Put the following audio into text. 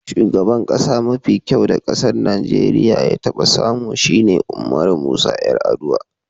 Shugaban kasa mafi kyau da kasan Nijeriya ya taba samu shine Umaru Musa Yar'adua.